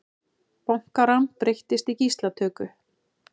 Bankarán breyttist í gíslatöku